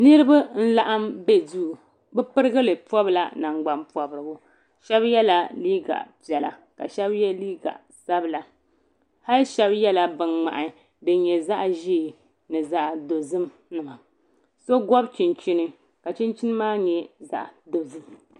Niriba n laɣim be duu bɛ pirigili pobla nangban pobrigu Sheba yela liiga piɛla ka Sheba ye liiga sabla hali Sheba yela bin ŋmahi din nyɛ zaɣa ʒee ni zaɣa dozim so gobi chinchi ka chinchini maa nyɛ zaɣa dozim .